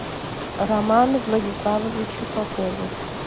роману владиславовичу попову